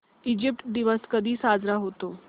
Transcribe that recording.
Egypt दिवस कधी साजरा होतो